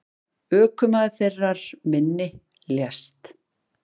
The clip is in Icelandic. Ökumaður þeirrar minni lést.